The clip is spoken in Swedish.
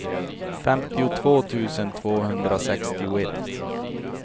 femtiotvå tusen tvåhundrasextioett